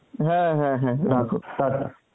হ্যাঁ হ্যাঁ হ্যাঁ রাখো টাটা